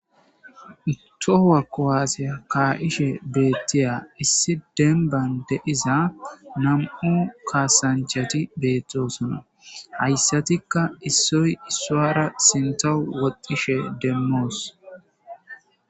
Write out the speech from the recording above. Tohowa kowaasiya kaa7ishe beettiya issi denban de iza nam7u kaasanchati beettosona hayssatikka issoy issuara sinta woqishe demmoos.